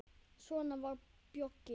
Svona var Bjöggi.